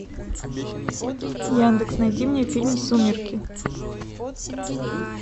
яндекс найди мне фильм сумерки